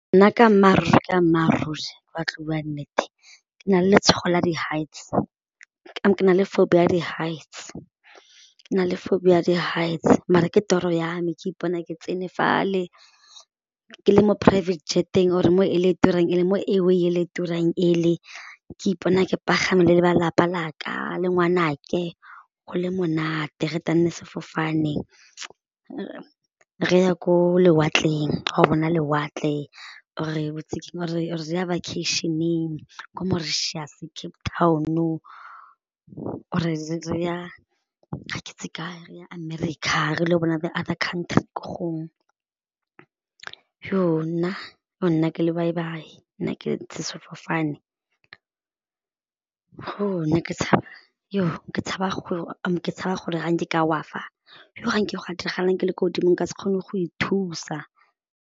Nna ka mmaararuri ka mmaaruri ba tlo bua nnete ke na le letshogo la di-heights ke na le phobia ya di-heights, ke na le phobia ya di-heights mare ke toro ya me ke ipone ke tsene fale, ke le mo private jet-eng or mo ele e turang ele, mo airway e le turang ele ke ipona ke pagame le ba lelapa la ka le ngwanake go le monate re sefofane re ya ko lewatleng bona lewatle or-e re ya vacation-eng kwa Mauritius, Cape Town or re ya ga ke itse kae re ya America re le go bona the other country ko gongwe, nna, nna ke lobaibai, nna ke sefofane ke tshaba gore ka wa fa go ga nke ga diragalang ke le ko godimo ka se kgone go ithusa.